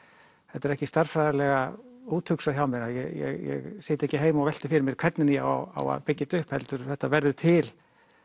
þetta er ekki stærðfræðilega úthugsað hjá mér ég sit ekki heima og velti fyrir mér hvernig ég á að byggja þetta upp heldur þetta verður til